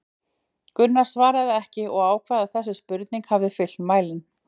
Gunnar svaraði ekki en ákvað að þessi spurning hefði fyllt mælinn.